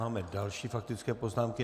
Máme další faktické poznámky.